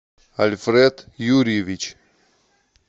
альфред юрьевич